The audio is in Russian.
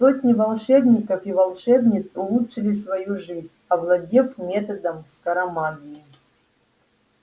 сотни волшебников и волшебниц улучшили свою жизнь овладев методом скоромагии